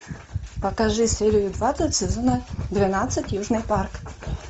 покажи серию двадцать сезона двенадцать южный парк